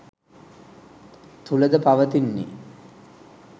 තුළද පවතින්නේ